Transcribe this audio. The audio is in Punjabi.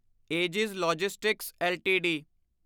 aegis logistics LTD